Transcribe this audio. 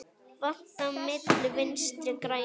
Vatn á myllu Vinstri grænna?